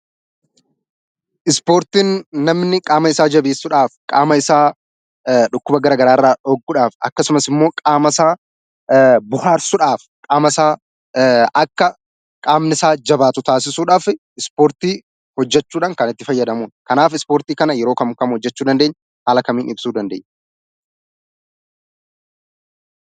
Ispoortiin namni qaama isaa jabessuudhaaf qaama isaa dhukkuba gara garaa irra dhorkuudhaaf akkasumas immoo qaama isaa bohaarsuudhaaf, qaama isaa akka qaamni isaa jabaatu taasisuudhaaf Ispoortii hojjechuudhaan kan itti fayyadamudha. Kanaaf Ispoortii kana yeroo kam kam hojjechuu dandeenya? Haala kamiin ibsuu dandeenya?